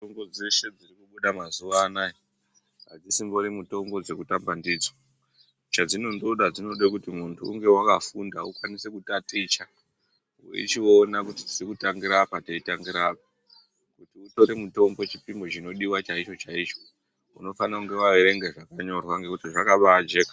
Mitombo dzeshe dzinobuda mazuwanaya adzisingori mitombo dzekutamba ndidzo chadzinondoda dzinondode kuti muntu unge wakafunda ukwanise kutaticha weichiona kuti tiri kutangira apa teitangira apa kuti utori mutombo chipimo chinodiwa chaicho chaicho unofanire kunge waerwnga zvakanyorwa ngekuti zvakabajeka.